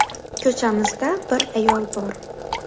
Ko‘chamizda bir ayol bor.